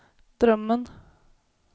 drömmen